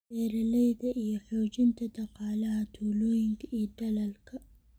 beeralayda iyo xoojinta dhaqaalaha tuulooyinka iyo dalalka.